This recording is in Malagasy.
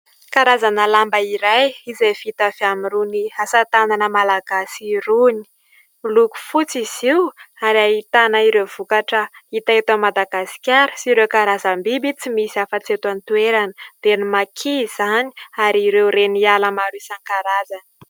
Karazana lamba iray izay vita avy irony asa tanana malagasy irony, miloko fotsy izy io ary ahitana ireo vokatra hita eto Madagasikara sy ireo karazam-biby tsy misy hafa tsy eto an-toerana dia ny Makia izany ary ireo Reniala maro isankarazany.